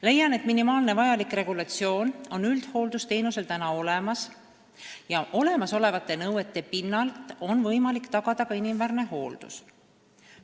Leian, et minimaalne vajalik regulatsioon on üldhooldusteenusel praegu olemas ja kehtivaid nõudeid arvestades on võimalik tagada ka inimväärne hooldus.